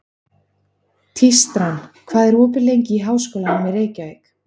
Tístran, hvað er opið lengi í Háskólanum í Reykjavík?